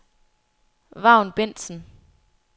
Vagn Bendtsen